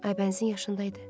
Aybənizin yaşında idi.